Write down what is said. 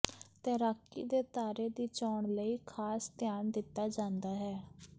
ਤੈਰਾਕੀ ਦੇ ਤਾਰੇ ਦੀ ਚੋਣ ਲਈ ਖਾਸ ਧਿਆਨ ਦਿੱਤਾ ਜਾਂਦਾ ਹੈ